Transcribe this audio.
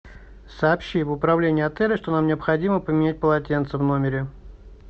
сообщи в управление отеля что нам необходимо поменять полотенце в номере